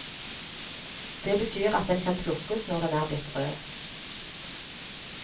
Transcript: Det betyr at den kan plukkes når den er blitt rød.